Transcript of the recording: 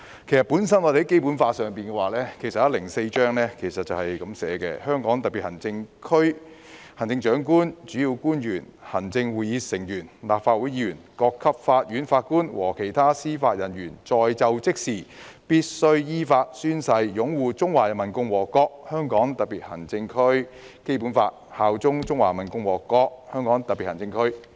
《基本法》第一百零四條訂明："香港特別行政區行政長官、主要官員、行政會議成員、立法會議員、各級法院法官和其他司法人員在就職時必須依法宣誓擁護中華人民共和國香港特別行政區基本法，效忠中華人民共和國香港特別行政區。